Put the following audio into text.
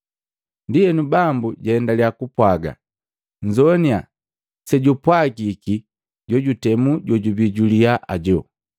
Ndienu, Bambu jaendaliya kupwaaga, “Nzoaninya sejupwagiki jojutemu jojubii juliyaa ajo.